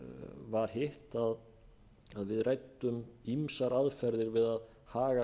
var hitt að við ræddum ýmsar aðferðir við að haga